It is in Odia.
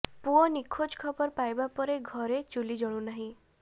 ପୁଅ ନିଖୋଜ ଖବର ପାଇବା ପରେ ଘରେ ଚୂଲି ଜଳୁନାହିଁ